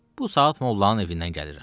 Bu saat mollanın evindən gəlirəm.